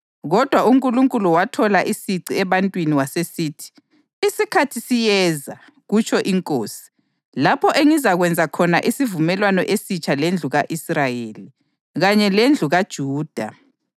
Kodwa uNkulunkulu wathola isici ebantwini wasesithi: “Isikhathi siyeza, kutsho iNkosi, lapho engizakwenza khona isivumelwano esitsha lendlu ka-Israyeli kanye lendlu kaJuda.